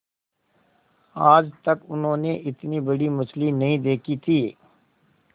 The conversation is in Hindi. आज तक उन्होंने इतनी बड़ी मछली नहीं देखी थी